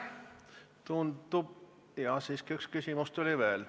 Tundub, jaa, siiski üks küsimus tuli veel.